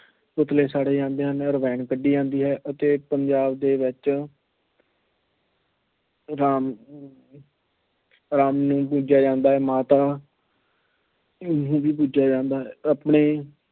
ਪੁਤਲੇ ਸਾੜੇ ਜਾਂਦੇ ਹਨ ਰਾਮਾਇਣ ਕੱਢੀ ਜਾਂਦੀ ਹੈ। ਤੇ ਪੰਜਾਬ ਦੇ ਵਿੱਚ ਰਾਮ ਨੂੰ ਪੂਜਿਆ ਜਾਂਦਾ ਹੈ। ਮਾਤਾ ਨੂੰ ਵੀ ਪੂਜਿਆ ਜਾਂਦਾ ਹੈ। ਆਪਣੀ